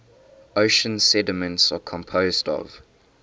ocean sediments are composed of